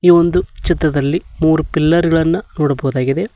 ಇದು ಒಂದು ಚಿತ್ರದಲ್ಲಿ ಮೂರು ಪಿಲ್ಲರ್ ಗಳನ್ನು ನೋಡಬಹುದಾಗಿದೆ.